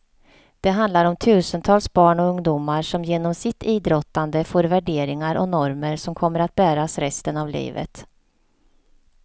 Det handlar om tusentals barn och ungdomar som genom sitt idrottande får värderingar och normer som kommer att bäras resten av livet.